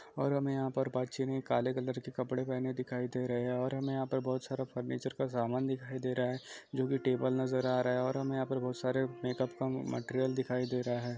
और हमें यहाँ पर बच्चों ने काले कपड़े पहनें हुए दिखाई दे रहे है और हमें यहाँ पर बहुत सारा फर्नीचर का समान दिखाई दे रहा है जो की टेबल नजर आ रहा है और हमें यहाँ बहुत सारे मेकअप का मटेरियल दिखाई दे रहा है।